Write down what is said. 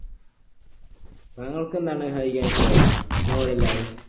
നിങ്ങൾക്കെന്താണ് വായിക്കാനിഷ്ടമുള്ളേ novel അല്ലാതെ